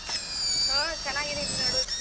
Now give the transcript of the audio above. ಹಾ ಚೆನ್ನಾಗಿದ್ದೀನ್ ನೋಡು.